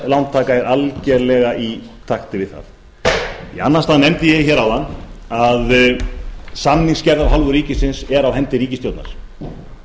lántaka er algerlega í takti við það í annan stað nefndi ég hér áðan að samningsgerð af hálfu ríkisins er á hendi ríkisstjórnar og